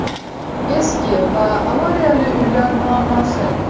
Eski va avariyali uylar muammosi.